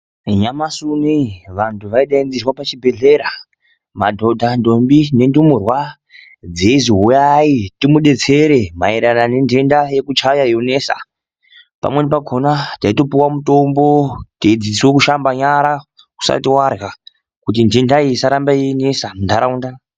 Nyamashi unei vantu ,vaidaidzerwa pachibhedhlera , madhodha, ntombi nendumurwa dzeizi uyai timudetsere mairerano nendenda yekuchaya yonesa , pamweni pakona taitopuwe mutombo teidzidziswe kushamba nyara usati wadya kuti ndenda iyi isarambe yeinesa muntaraunda .